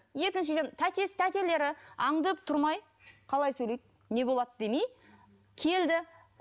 екіншіден тәтесі тәтелері аңдып тұрмай қалай сөйлейді не болады демей келді